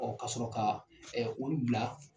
Ɔ ka sɔrɔ ka olu bila.